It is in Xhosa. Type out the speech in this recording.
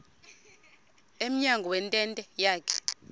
emnyango wentente yakhe